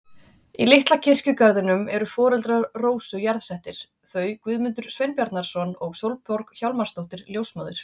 Í litla kirkjugarðinum eru foreldrar Rósu jarðsettir, þau Guðmundur Sveinbjarnarson og Sólborg Hjálmarsdóttir ljósmóðir.